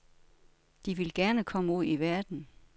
De vil gerne komme ud i verden.